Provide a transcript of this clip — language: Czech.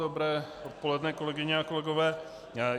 Dobré odpoledne, kolegyně a kolegové.